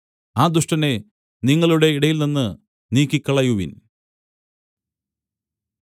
ആ ദുഷ്ടനെ നിങ്ങളുടെ ഇടയിൽനിന്ന് നീക്കിക്കളയുവിൻ